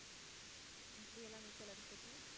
எப்படி எல்லாம் நீச்சல் அடிச்சிட்டு